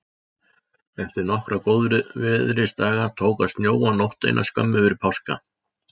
Eftir nokkra góðviðrisdaga tók að snjóa nótt eina skömmu fyrir páska.